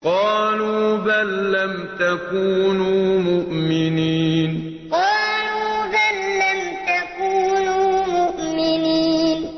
قَالُوا بَل لَّمْ تَكُونُوا مُؤْمِنِينَ قَالُوا بَل لَّمْ تَكُونُوا مُؤْمِنِينَ